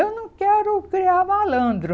Eu não quero criar malandro.